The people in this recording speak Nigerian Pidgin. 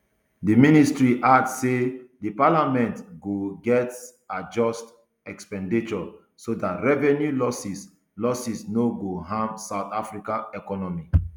di ministry add say di parliament go gatz adjust expenditure so dat revenue losses losses no go harm south africa economy